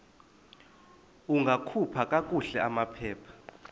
ungakhupha kakuhle amaphepha